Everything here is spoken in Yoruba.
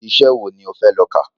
Iṣẹ wo ni o fẹ lọ ká?